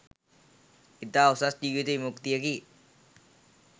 ඉතා උසස් ජීවිත විමුක්තියකි